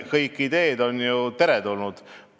Kõik ideed on ju teretulnud.